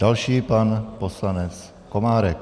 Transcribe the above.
Další pan poslanec Komárek.